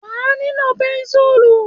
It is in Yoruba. Wà a nílò pẹ́ńsùl.